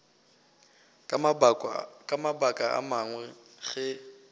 ka mabaka a mangwe ge